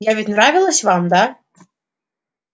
я ведь нравилась вам да